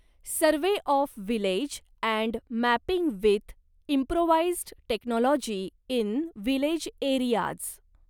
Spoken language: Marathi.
survey of village and mapping with improvised technology in village areas